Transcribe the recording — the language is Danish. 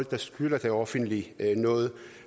der skylder det offentlige noget